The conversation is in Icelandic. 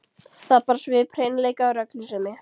Það bar svip hreinleika og reglusemi.